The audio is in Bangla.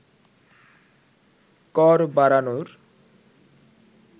কর বাড়ানোর